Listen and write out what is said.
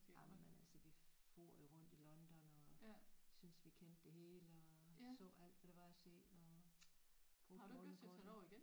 Jamen altså vi fór jo rundt i London og synes vi kendte det hele og så alt hvad der var at se og boede ovenpå